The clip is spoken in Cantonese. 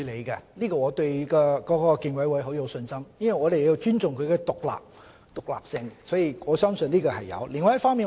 這方面我對競委會很有信心，我們要尊重其獨立性，所以我相信競委會是會處理的。